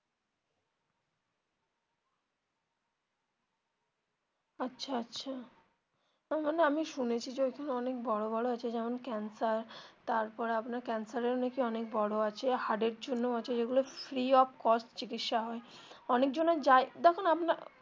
আচ্ছা আচ্ছা মানে আমি শুনেছি যে ওখানে অনেক বড়ো বড়ো আছে যেমন ক্যান্সার তারপরে আপনার ক্যান্সার এরও নাকি অনেক বড়ো আছে হার্ট এর জন্যও আছে যেগুলো free of cost চিকিৎসা হয় অনেকজনের যায় দেখুন .